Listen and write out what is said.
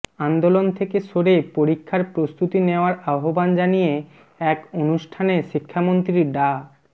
আন্দোলন থেকে সরে পরীক্ষার প্রস্তুতি নেওয়ার আহ্বান জানিয়ে এক অনুষ্ঠানে শিক্ষামন্ত্রী ডা